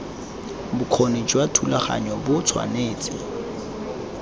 bokgoni jwa thulaganyo bo tshwanetse